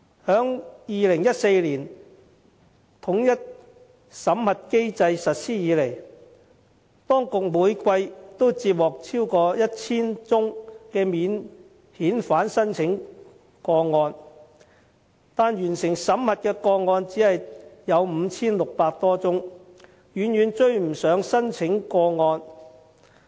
自2014年統一審核機制實施以來，當局每季都接獲超過 1,000 宗免遣返聲請個案，但完成審核的個案只有 5,600 多宗，遠遠追不上聲請個案。